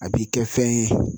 A b'i kɛ fɛn ye